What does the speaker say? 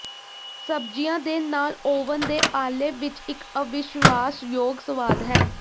ਸਬਜ਼ੀਆਂ ਦੇ ਨਾਲ ਓਵਨ ਦੇ ਆਲੇਵ ਵਿੱਚ ਇੱਕ ਅਵਿਸ਼ਵਾਸ਼ਯੋਗ ਸਵਾਦ ਹੈ